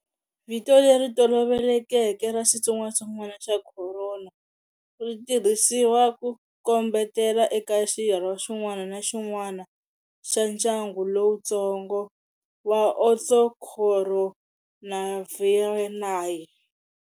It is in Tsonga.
Vito leri tolovelekeke ra xitsongatsongwana xa khorona ri tirhisiwa ku kombetela eka xirho xin'wana na xin'wana xa ndyangu lowutsongo wa"Orthocoronavirinae".